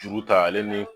Juru ta ale ni